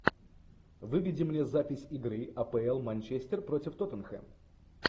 выведи мне запись игры апл манчестер против тоттенхэм